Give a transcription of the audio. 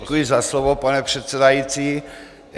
Děkuji za slovo, pane předsedající.